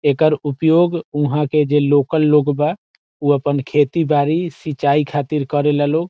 एकर उपयोग ऊहा के जे लोकल लोग बा उ अपन खेती बाड़ी सिंचाई खातिर करे ला लोग।